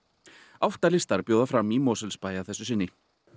átta listar bjóða fram í Mosfellsbæ að þessu sinni